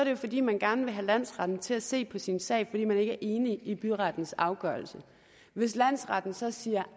jo fordi man gerne vil have landsretten til at se på sin sag er enig i byrettens afgørelse hvis landsretten så siger